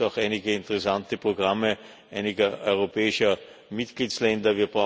Hier gibt es auch einige interessante Programme einiger europäischer Mitgliedstaaten.